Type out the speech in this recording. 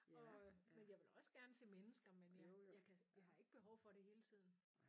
Og øh men jeg vil også gerne se mennesker men jeg jeg kan jeg har ikke behov for det hele tiden